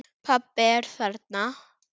Pabbi er þarna.